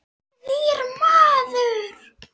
Nýr maður.